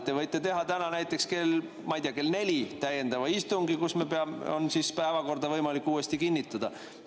Te võite teha täna näiteks, ma ei tea, kell neli täiendava istungi, kus on päevakorda võimalik kinnitada.